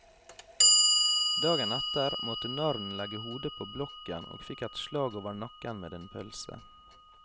Dagen etter måtte narren legge hodet på blokken og fikk et slag over nakken med en pølse.